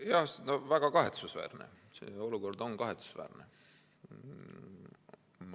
Jaa, see on väga kahetsusväärne, selline olukord on kahetsusväärne.